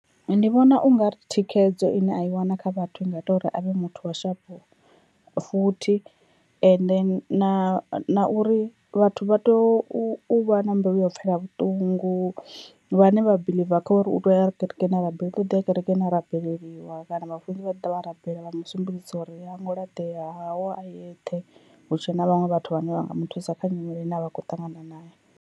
Ndi vhona ungari thikhedzo ine a i wana kha vhathu i nga ita uri avhe muthu wa sharp futhi, ende na na uri vhathu vha tea u vha na mbilu ya u pfela vhuṱungu, vhane vha biḽiva kha uri u tea uya kerekeni a rabele uḓo ḓiya kerekeni a rabeleliwa kana vhafunzi vhaḓa vha rabela vha musumbedzisa uri a hu ngo laṱea haho a eṱhe, hutshe na vhaṅwe vhathu vhane vha nga muthusa kha nyimele ine a vha khou ṱangana nayo.